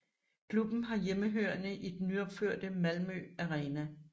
Klubben har hjemmebane i den nyopførte Malmö Arena